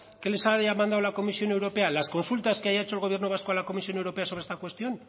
que les haya mandado la comisión europea las consultas que haya hecho el gobierno vasco a la comisión europea sobre esta cuestión